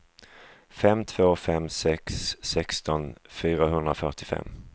fem två fem sex sexton fyrahundrafyrtiofem